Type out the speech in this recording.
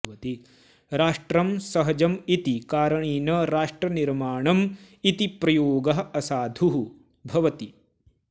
राष्ट्रं सहजम् इति कारणेन राष्ट्रनिर्माणम् इति प्रयोगः असाधुः भवति